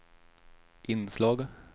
inslag